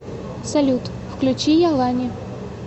салют включи ялани